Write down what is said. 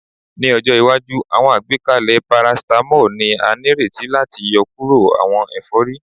Ni ọjọ iwaju, awọn agbekalẹ paracetamol ni a nireti lati yọkuro awọn efori